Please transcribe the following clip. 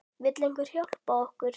Vill einhver hjálpa okkur?